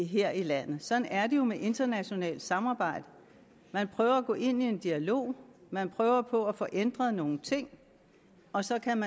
her i landet sådan er det jo med internationalt samarbejde man prøver at gå ind i en dialog man prøver på at få ændret nogle ting og så kan